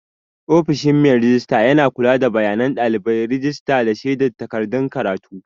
Ofishin mai rejista yana kula da bayanan ɗalibai, rajista, da shaidar takardun karatu.